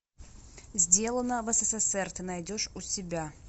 сделано в ссср ты найдешь у себя